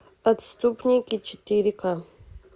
отступники четыре ка